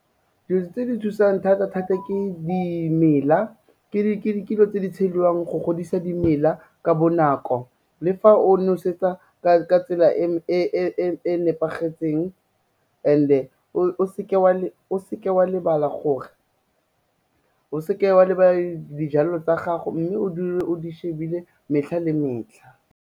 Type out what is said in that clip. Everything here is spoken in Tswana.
Dilo tse di thusang thata-thata ke dimela, ke dilo tse di tshediwang go godisa dimela ka bonako le fa o nosetsa ka tsela e nepagetseng and-e o seke wa lebala gore o seke wa labala dijalo tsa gago, mme o dule o di shebile metlha le metlha.